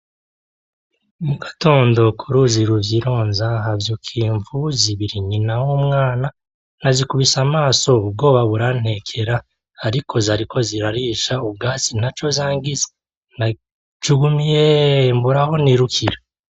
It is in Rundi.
Mugatondo kuruzi ruvyironza ,havyukiye imvubu zibiri. Nyina n'umwana; nazikubise amaso ubwoba burantekera ariko ntaco zangize; najugumiyeeh mbura aho nirukira.